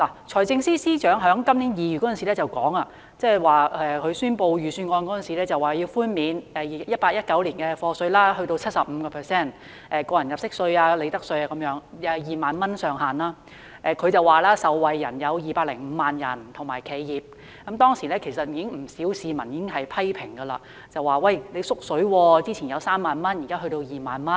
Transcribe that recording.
財政司司長在今年2月發表財政預算案時提出寬免 2018-2019 課稅年度 75% 的個人入息課稅、利得稅等，以2萬元為上限，他表示受惠人士和企業有205萬，當時其實已遭不少市民批評為"縮水"，因為前一年的上限是3萬元，現在只是2萬元。